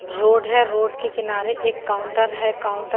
road हे road के किनारे एक काउंटर हे काउंटर --